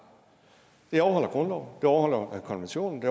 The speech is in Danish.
det overholder grundloven det overholder konventionen